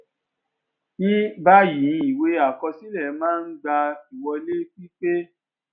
ni báyìíìwé àkọsílẹ máa ń gba ìwọlé pípé